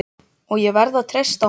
og ég verð að treysta honum.